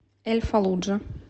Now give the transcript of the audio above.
эль фаллуджа